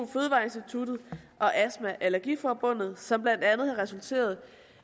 astma allergi forbundet som blandt andet har resulteret